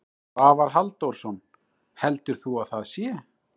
Svavar Halldórsson: Heldur þú að það sé?